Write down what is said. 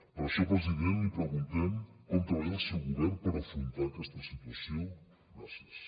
per això president li preguntem com treballa el seu govern per afrontar a aquesta situació gràcies